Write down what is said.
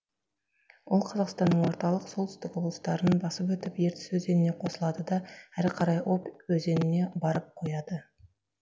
ол қазақстанның орталық солтүстік облыстарын басып өтіп ертіс өзеніне қосылады да әрі қарай объ өзеніне барып құяды